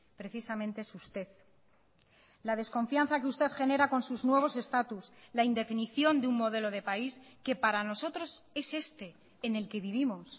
precisamente es usted la desconfianza que usted genera con sus nuevos estatus la indefinición de un modelo de país que para nosotros es este en el que vivimos